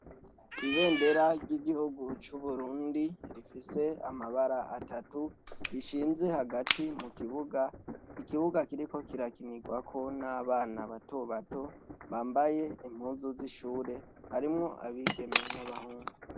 Ibendera ry'igihugu c'uburundi rifise amabara atatu rishinze hagati mu kibuga, ikibuga kiriko kirakinirwa ko n'abana batobato bambaye impuzu z'ishure harimwo abigeme n'abahungu.